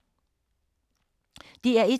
DR1